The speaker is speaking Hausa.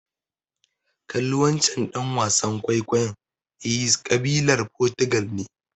Kalli wancen ɗan wasan kwaikwayon, he's ƙabilar Fotugal ne.